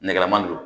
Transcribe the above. Nɛgɛman don